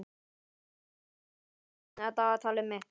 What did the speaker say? Vorm, opnaðu dagatalið mitt.